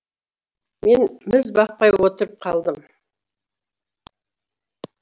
мен міз бақпай отырып қалдым